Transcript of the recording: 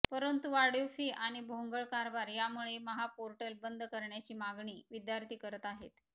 परंतु वाढीव फी आणि भोंगळ कारभार यामुळे महापोर्टल बंद करण्याची मागणी विद्यार्थी करत आहेत